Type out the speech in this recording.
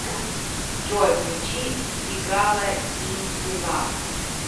джой включи сигала изи лав